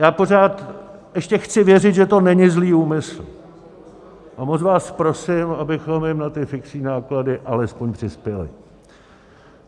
Já pořád ještě chci věřit, že to není zlý úmysl, a moc vás prosím, abychom jim na ty fixní náklady alespoň přispěli.